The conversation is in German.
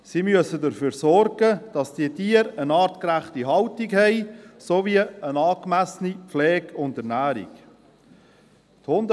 Sie müssen dafür sorgen, dass diese Tiere artgerecht gehalten werden sowie eine angemessene Pflege und Ernährung erhalten.